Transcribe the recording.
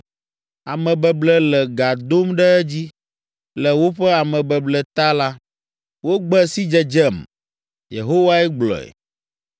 Amebeble le gã dom ɖe edzi. Le woƒe amebeble ta la, wogbe sidzedzem.” Yehowae gblɔe.